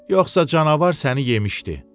Yoxsa canavar səni yemişdi.